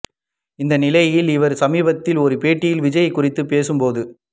இந்நிலையில் இவர் சமீபத்தில் ஒரு பேட்டியில் விஜய் குறித்து பேசும் போது